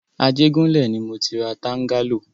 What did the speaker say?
Ajégúnlẹ̀ ni mọ ti ra tángálò.